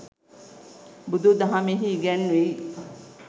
බුදු දහමෙහි ඉගැන්වෙයි.